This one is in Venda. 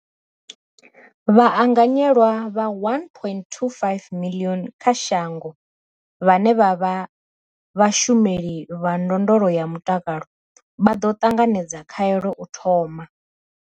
Vhaanganyelwa vha 1.25 miḽioni kha shango vhane vha vha vhashumeli vha ndondolo ya mutakalo vha ḓo ṱanganedza khaelo u thoma.